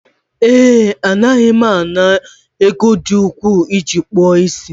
ee, Anaghị m ana m ego dị ukwuu iji akpụ isi